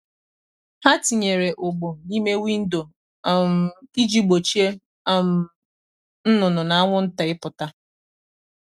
ha tinyere ụgbụ n’ime windo um iji gbochie um nnụnụ na anwụnta ịpụta.